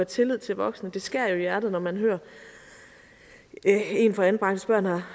tillid til voksne det skærer jo i hjertet når man hører at en fra anbragte børn har